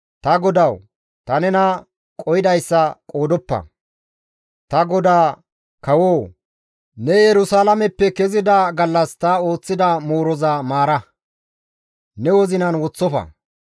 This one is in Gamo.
«Ta godawu ta nena qohidayssa qoodoppa; ta godaa kawo ne Yerusalaameppe kezida gallas ta ooththida mooroza maara; ne wozinan woththofa.